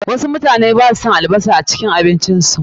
Wasu mutane basu son albasar a abincin su.